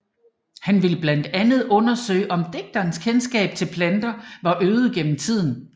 Han ville blandt andet undersøge om digternes kendskab til planter var øget gennem tiden